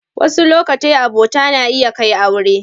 Wasu lokatai abota na iya kai aure.